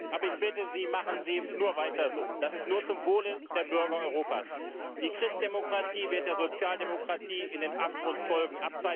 Aber ich bitte Sie Machen Sie nur weiter so, das ist nur zum Wohle der Bürger Europas! Die Christdemokratie wird der Sozialdemokratie in den Abgrund folgen.